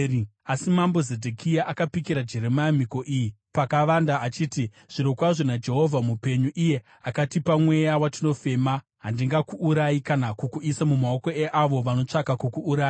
Asi mambo Zedhekia akapikira Jeremia mhiko iyi pakavanda achiti, “Zvirokwazvo naJehovha mupenyu, iye akatipa mweya watinofema, handingakuurayi kana kukuisa mumaoko eavo vanotsvaka kukuuraya.”